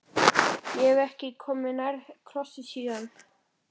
Ég hef ekki komið nærri krossi síðan.